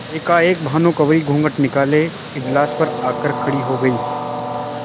एकाएक भानुकुँवरि घूँघट निकाले इजलास पर आ कर खड़ी हो गयी